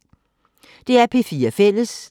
DR P4 Fælles